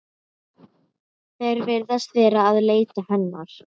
Í henni fer sundrun næringarefnanna að mestu leyti fram.